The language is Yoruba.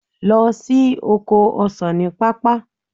Lọ sí oko ọsan ní pápá.